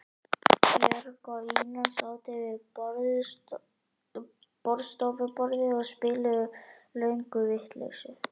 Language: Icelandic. Björg og Ína sátu við borðstofuborðið og spiluðu lönguvitleysu.